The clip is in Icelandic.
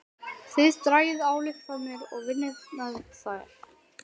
Þið dragið ályktanir og vinnið með þær.